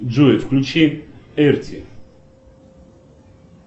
джой включи эрти